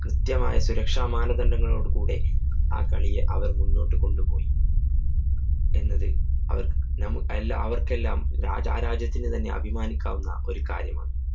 കൃത്യമായ സുരക്ഷാമാനദണ്ഡങ്ങളോട് കൂടെ ആ കളിയെ അവര്‍ മുന്നോട്ട് കൊണ്ടുപോയി. എന്നത് അവര്‍ നമ്മ അവര്‍ക്കെല്ലാം ആ ആ രാജ്യത്തിനു തന്നെ അഭിമാനിക്കാവുന്ന ഒരു കാര്യമാണ്.